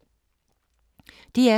DR2